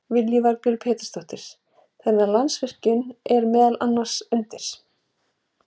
Lillý Valgerður Pétursdóttir: Þannig að Landsvirkjun er meðal annars undir?